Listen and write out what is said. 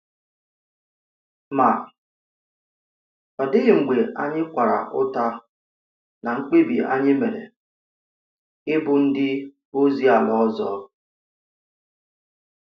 Ma, ọ dịghị mgbe anyị kwara ụta ná mkpèbi anyị mere ịbụ ndị ozi àlà ọzọ.